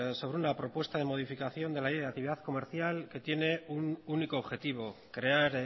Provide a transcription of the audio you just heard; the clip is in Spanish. sobre una propuesta de modificación de la ley de la actividad comercial que tiene un único objetivo crear